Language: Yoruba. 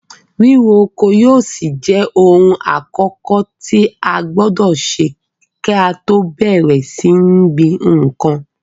Ríro oko yóò ṣì jẹ ohun àkọ́kọ̀ tí a gbọdọ̀ kí á tọ́ bẹ̀rẹ̀ sí ní gbin nǹkan.